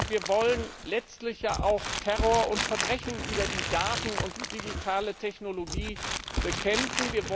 Wir wollen letztlich ja auch Terror und Verbrechen über die Daten und die digitale Technologie bekämpfen.